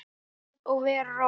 Verð að vera róleg.